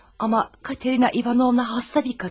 Amma Katerina Ivanovna xəstə bir qadın.